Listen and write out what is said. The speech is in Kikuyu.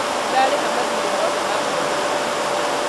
Nĩndarĩha mathirĩ mothe ma mweri ũyũ